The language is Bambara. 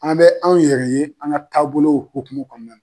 An bɛ anw yɛrɛ ye an ka taabolow hokumu kɔnɔna na.